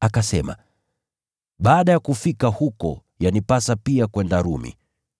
Akasema, “Baada ya kufika huko, yanipasa pia kwenda Rumi.”